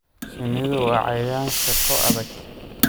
Shinnidu waa cayayaan shaqo adag.